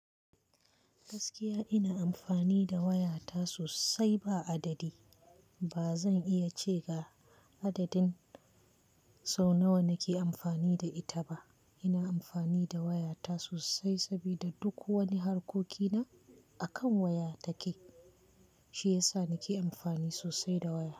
Gaskiya ina amfani da wayata sosai ba adadi. Ba zan iya ce ga adadin sau nawa nake amfani da ita ba. Ina amfani da wayata sosai sabida duk wani harkokina akan waya ta ke. Shi yasa nake amfani sosai da waya.